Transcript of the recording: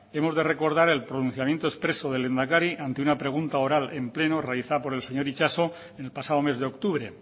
hemos de recordar el pronunciamiento expreso del lehendakari ante una pregunta oral en pleno realizado por el señor itxaso en el pasado mes de octubre